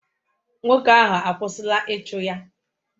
Nwoke ahụ akwụsịla ịchụ ya?